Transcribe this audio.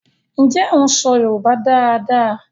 Njé o ń so yorùbá dá dá?